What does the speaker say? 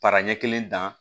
Para ɲɛ kelen dan